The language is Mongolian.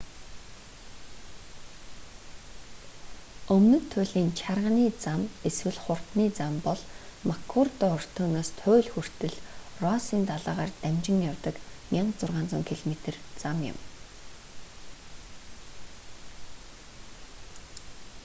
өмнөд туйлын чарганы зам эсвэл хурдны зам бол маккурдо өртөөнөөс туйл хүртэл россын далайгаар дамжин явдаг 1600 км зам юм